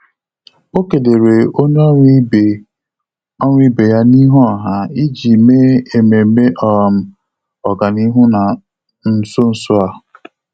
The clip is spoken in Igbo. Ọ́ kèlèrè onye ọ́rụ́ ibe ọ́rụ́ ibe ya n’íhú ọha iji mèé ememe um ọ́gànihu nà nso nso a.